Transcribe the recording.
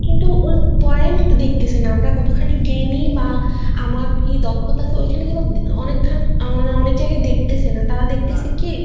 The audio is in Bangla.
কিন্তু point দেখতেছি না আমরা কতখানি জ্ঞানি বা আমার কি দক্ষতা আছে ওইখানে কিন্তু অনেক খানি আহ অনেক যায়গায় দেখতেছেনা তারা দেখতেছে কি